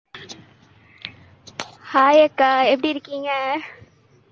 hi அக்கா எப்படி இருக்கீங்க?